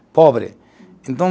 Cobre, então